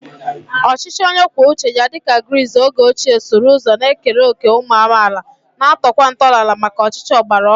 Ọchịchị onye kwuo uche ya dị ka Gris oge ochie sụrụ ụzọ na-ekere òkè ụmụ amaala, na-atọkwa ntọala maka ọchịchị ọgbara ọhụrụ.